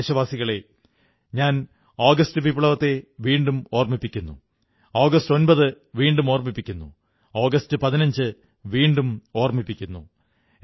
പ്രിയപ്പെട്ട ദേശവാസികളേ ഞാൻ ആഗസ്റ്റ് വിപ്ലവത്തെ വീണ്ടും ഓർമ്മിപ്പിക്കുന്നു ആഗസ്റ്റ് 9 വീണ്ടും ഓർമ്മിപ്പിക്കുന്നു ആഗസ്റ്റ് 15 വീണ്ടും ഓർമ്മിപ്പിക്കുന്നു